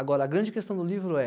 Agora, a grande questão do livro é